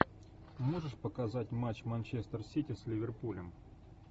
можешь показать матч манчестер сити с ливерпулем